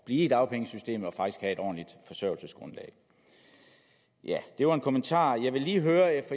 blive i dagpengesystemet og faktisk have et ordentligt forsørgelsesgrundlag det var en kommentar